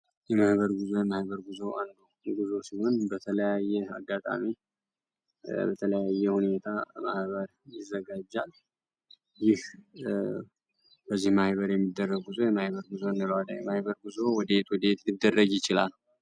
የማህበር ጉዞ የማህበር ጉዞ አንዱ ጉዞ ሲሆን በተለየ አጋጣሚ በተለያየ ሁኔታ ማህባር ይዘጋጃል ይህ በዚህ ማይበር የሚደረግ ጉዞ የማይበር ጉዞ ንሏለ የማይበር ጉዞ ወዲት ወዴት ሊደረግ ይችላል።